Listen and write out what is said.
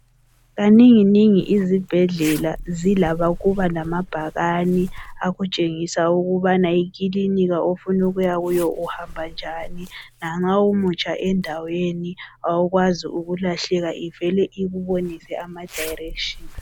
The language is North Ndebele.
Kaninginingi izibhedlela zila ukuba lamabhakani akutshengisa ukubana ikilinika ofunukuya kuyo uhamba njani lanxa umutsha endaweni awukwazi ukulahleka ivele ikubonise amadirection